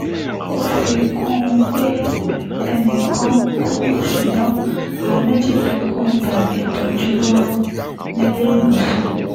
ó fi kún un pé ẹnì kan kú ṣùgbọ́n àwọn méjì tó kù ń gba ìtọ́jú lọ́wọ́ níléèwọ̀sàn